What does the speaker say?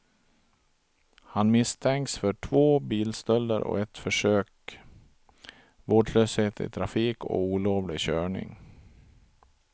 Han misstänks för två bilstölder och ett försök, vårdslöshet i trafik och olovlig körning.